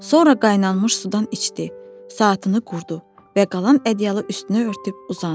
Sonra qaynammış sudan içdi, saatını qurdu və qalan ədyalı üstünə örtüb uzandı.